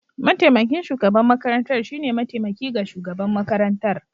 Mataimakin shugaban makarantar shine mataimaki ga shugaban makarantar.